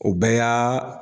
O bɛɛ yaa